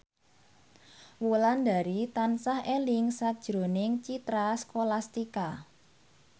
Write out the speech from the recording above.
Wulandari tansah eling sakjroning Citra Scholastika